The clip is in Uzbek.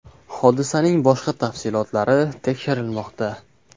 Hodisaning boshqa tafsilotlari tekshirilmoqda.